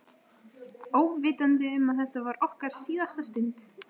Óvitandi um að þetta var okkar síðasta stund.